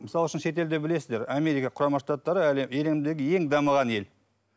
мысал үшін шетелде білесіздер америка құрама штаттары әлемдегі ең дамыған ел